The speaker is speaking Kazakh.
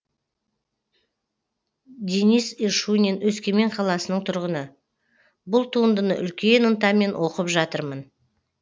денис ишунин өскемен қаласының тұрғыны бұл туындыны үлкен ынтамен оқып жатырмын